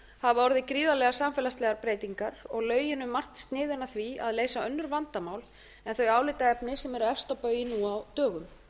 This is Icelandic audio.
hafa orðið gríðarlegar samfélagslegar breytingar og lögin um margt sniðin að því að leysa önnur vandamál en þau álitaefni sem eru efst á baugi nú á dögum